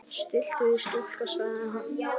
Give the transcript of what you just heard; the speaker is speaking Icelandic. Stilltu þig stúlka, sagði hann.